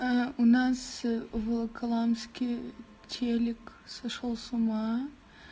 у нас волоколамский телек сошёл с ума